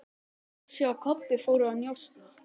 Ási og Kobbi fóru að njósna.